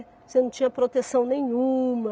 Você não tinha proteção nenhuma.